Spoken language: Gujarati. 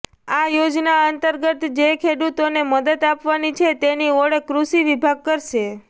આ યોજના અંતર્ગત જે ખેડૂતોને મદદ આપવાની છે તેની ઓળખ કૃષિ વિભાગ કરશે